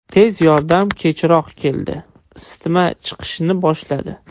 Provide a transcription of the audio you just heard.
Tez yordam kechroq keldi, isitma chiqishni boshladi.